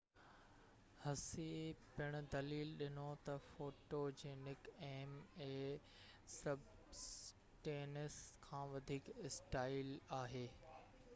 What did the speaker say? هسي پڻ دليل ڏنو ته فوٽوجينڪ ايم اي سبسٽينس کان وڌيڪ اسٽائل آهي